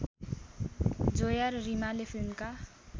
जोया र रिमाले फिल्मका